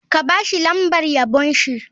Ka ba shi lambar yabon shi.